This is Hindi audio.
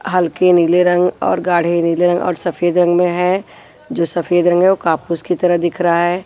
हल्के नीले रंग और गाढ़े नीले रंग और सफेद रंग में है जो सफेद रंग है वो कापूस की तरह दिख रहा है।